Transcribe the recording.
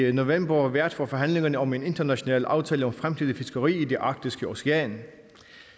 i november vært for forhandlingerne om en international aftale om fremtidigt fiskeri i det arktiske ocean